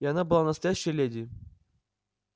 и она была настоящая леди